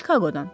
Çikaqodan.